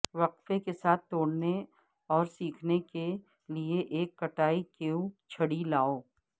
وقفے کے ساتھ توڑنے اور سیکھنے کے لئے ایک کٹائی کیو چھڑی لاو